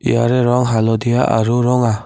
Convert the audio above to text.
ইয়াৰে ৰং হালধীয়া আৰু ৰঙা।